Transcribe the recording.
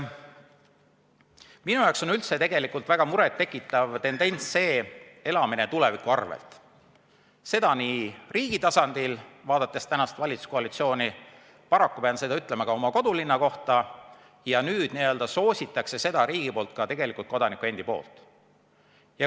Minu jaoks on üldse väga muret tekitav tendents see elamine tuleviku arvel, seda nii riigi tasandil, vaadates tänast valitsuskoalitsiooni, aga paraku pean seda ütlema ka oma kodulinna kohta, ja nüüd n-ö soosib riik seda, et seda teevad ka kodanikud.